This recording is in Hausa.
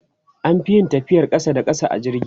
an Fi yin tafiyar ƙasa da ƙasa a jirgi